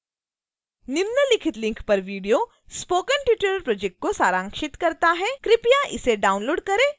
निम्नलिखित link पर video spoken tutorial project को सारांशित करता है कृपया इसे download करें और देखें